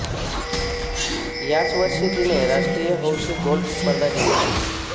याच वर्षी तिने राष्ट्रीय हौशी गोल्फ स्पर्धा जिंकली